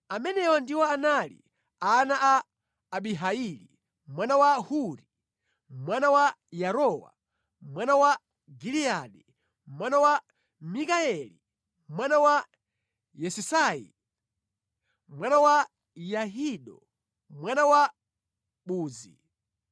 Amenewa ndiwo anali ana a Abihaili, mwana wa Huri, mwana wa Yarowa, mwana wa Giliyadi, mwana wa Mikayeli, mwana wa Yesisayi, mwana wa Yahido, mwana wa Buzi.